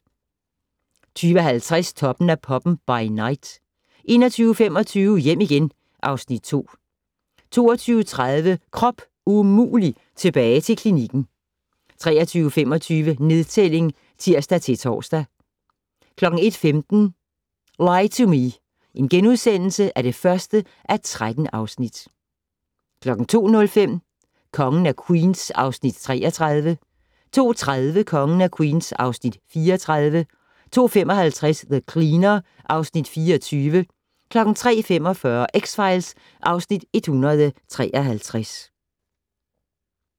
20:50: Toppen af poppen - by night 21:25: Hjem igen (Afs. 2) 22:30: Krop umulig - tilbage til klinikken 23:25: Nedtælling (tir-tor) 01:15: Lie to Me (1:13)* 02:05: Kongen af Queens (Afs. 33) 02:30: Kongen af Queens (Afs. 34) 02:55: The Cleaner (Afs. 24) 03:45: X-Files (Afs. 153)